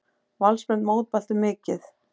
Valsmenn mótmæltu mikið.